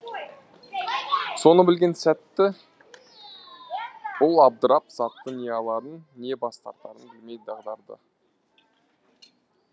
соны білген сәтті бұл абдырап затты не аларын не бас тартарын білмей дағдарды